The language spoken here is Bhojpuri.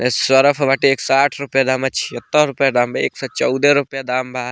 सर्फ़ बाटे एक सौ आठ रुपया दाम बा छिहत्तर रुपया दाम बा एक सौ चौदह रुपया दाम बा।